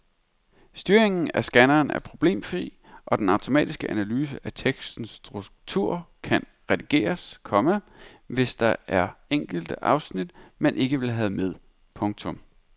Styringen af scanneren er problemfri og den automatiske analyse af tekstens struktur kan redigeres, komma hvis der er enkelte afsnit man ikke vil have med. punktum